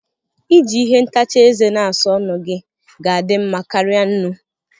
Iji ihe ntacha ézè na-asa ọnụ gị ga-adị mma karịa nnu